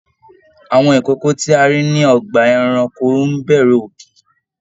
Àwọn ikòkò tí a rí ní ọgbà ẹranko n b'ẹrù òkè.